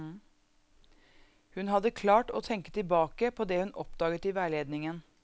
Hun hadde klart å tenke tilbake på det hun oppdaget i veiledningen.